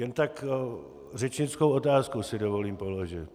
Jen tak řečnickou otázku si dovolím položit.